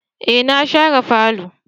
Eh na share falo.